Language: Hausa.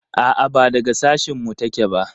A'a ba daga sashin mu ta ke ba